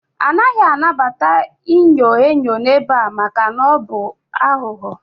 A naghị anabata inyo enyo n'ebe a maka na ọ bụ aghụghọ